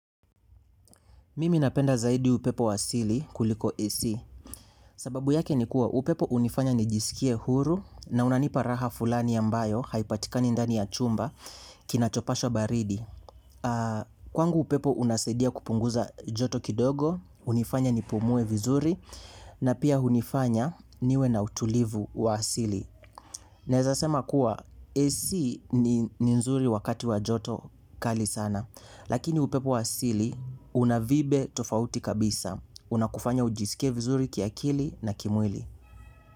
Mimi napenda zaidi upepo wa sili kuliko AC, sababu yake ni kuwa upepo hunifanya nijisikie huru na unanipa raha fulani ambayo haipatikani ndani ya chumba kinachopasha baridi. Kwangu upepo unasaidia kupunguza joto kidogo, hunifanya nipumue vizuri na pia hunifanya niwe na utulivu wa asili. Naeza sema kuwa AC ni nzuri wakati wa joto kali sana. Lakini upepo wa asili una vibe tofauti kabisa. Unakufanya ujisikie vizuri kiakili na kimwili.